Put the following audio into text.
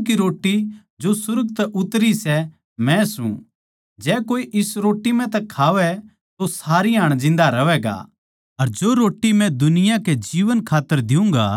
जीवन की रोट्टी जो सुर्ग तै उतरी सै मै सूं जै कोए इस रोट्टी म्ह तै खावै तो सारी हाण जिन्दा रहवैगा अर जो रोट्टी मै दुनिया कै जीवन खात्तर द्यूँगा